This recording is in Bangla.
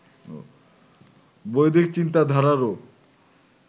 বৈদিক চিন্তাধারারও